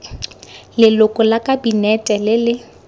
leloko la kabinete le le